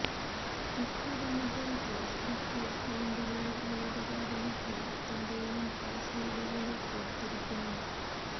Twitter മുതല് Facebook അകൌണ്ടുകള് ഉള്ളത് കാരണം എല്ലാത്തിന്റെയും പാസ് വേഡുകള് ഓര്ത്തിരിക്കണം